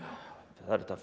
það er hægt